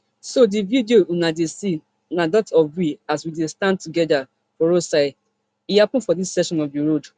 so di video una dey see na dat of we as we dey stand together for roadside e happun for dis section of di road